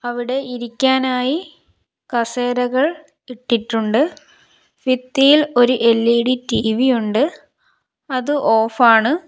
അവിടെ ഇരിക്കാനായി കസേരകൾ ഇട്ടിട്ടുണ്ട് ഫിത്തിയിൽ ഒര് എൽ_ഇ_ഡി ടി_വിയുണ്ട് അത് ഓഫാണ് .